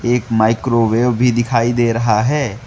एक माइक्रोवेव भी दिखाई दे रहा है।